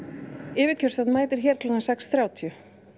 yfirkjörstjórn mætir hér klukkan sex þrjátíu